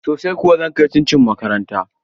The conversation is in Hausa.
Sosai kuwa, zan kai cin cin makaranta